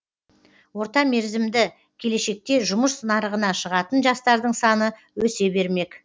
орта мерзімді келешекте жұмыс нарығына шығатын жастардың саны өсе бермек